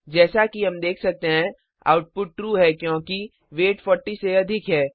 जैसा कि हम देख सकते हैं आउटपुट ट्रू है क्योंकि वेट 40 से अधिक है